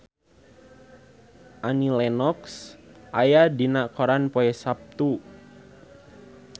Annie Lenox aya dina koran poe Saptu